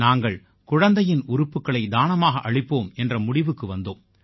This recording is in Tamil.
நாங்கள் குழந்தையின் உறுப்புக்களை தானமாக அளிப்போம் என்ற முடிவுக்கு வந்தோம்